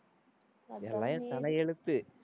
எல்லாம் என் தலையெழுத்து.